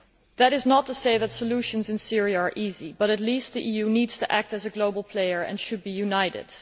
That is not to say that solutions in Syria are easy, but at least the EU needs to act as a global player and should be united.